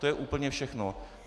To je úplně všechno.